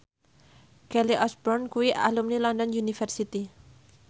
Kelly Osbourne kuwi alumni London University